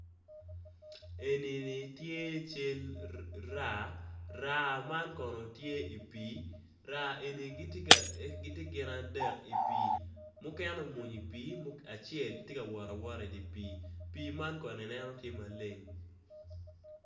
Eni-ni tye cal raa, raa man kono tye i pii, raa eni giti gin adek i pii mukene obuny acel ti kawot awota idi pii man kono ineno ti maleng.